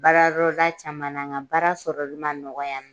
Baara yɔrɔ da caman , nga baara sɔrɔli ma nɔgɔ yan nɔn.